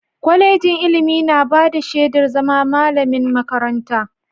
Kwalejin ilimi na bada shedar zama malamin makaranta.